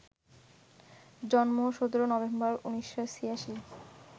জন্ম ১৭ নভেম্বর, ১৯৮৬